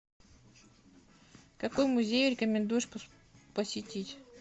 какой музей рекомендуешь посетить